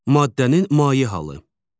Maddənin maye halı.